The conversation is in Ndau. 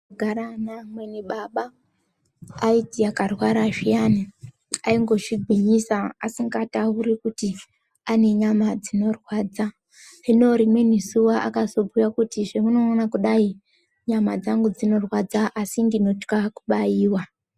Ndaigara naamweni baba aiti akarwara zviyani aingozvigwinyisa asingatauri kuti anenyama dzinorwadza ,hino rimweni zuwa akazobhuya kuti zvamunoona kudai nyama dzangu dzinorwadza asi ndinotya kubaiwa.